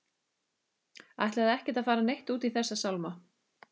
Ætlaði ekkert að fara neitt út í þessa sálma.